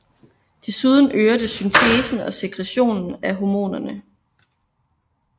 Desuden øger det syntesen og sekretionen af hormonerne